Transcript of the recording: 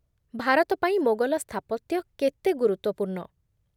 ଭାରତ ପାଇଁ ମୋଗଲ ସ୍ଥାପତ୍ୟ କେତେ ଗୁରୁତ୍ୱପୂର୍ଣ୍ଣ?